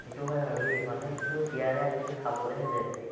সেটো হয় আৰু দেই মানুহে কিন্তু বিয়াতহে আজিকালি খাবলেহে যায় এ